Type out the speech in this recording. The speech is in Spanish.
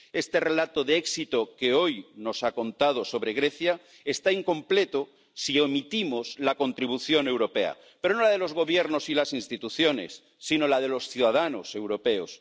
Este relato de éxito que hoy nos ha contado sobre Grecia está incompleto si omitimos la contribución europea, pero no la de los gobiernos y las instituciones, sino la de los ciudadanos europeos.